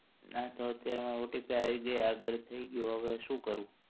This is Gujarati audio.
ના તો અત્યારે મારે OTP આવી ગઈ આગળ થઇ ગયું હવે શું કરું?